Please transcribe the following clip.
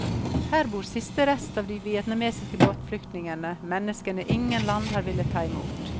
Her bor siste rest av de vietnamesiske båtflyktningene, menneskene ingen land har villet ta imot.